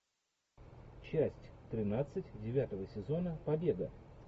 часть тринадцать девятого сезона побега